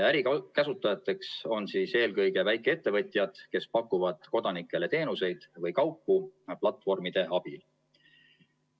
Ärikasutajateks on eelkõige väikeettevõtjad, kes pakuvad kodanikele teenuseid või kaupu platvormide abil.